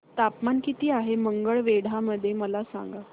तापमान किती आहे मंगळवेढा मध्ये मला सांगा